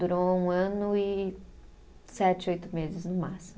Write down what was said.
Durou um ano e sete, oito meses no máximo.